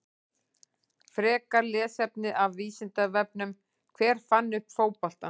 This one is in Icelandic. Frekara lesefni af Vísindavefnum: Hver fann upp fótboltann?